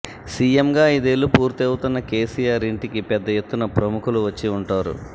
సీఎంగా ఐదేళ్లు పూర్తి అవుతున్న కేసీఆర్ ఇంటికి పెద్ద ఎత్తున ప్రముఖులు వచ్చి ఉంటారు